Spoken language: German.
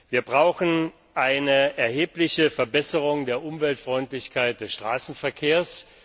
Wir brauchen eine erhebliche Verbesserung der Umweltfreundlichkeit des Straßenverkehrs.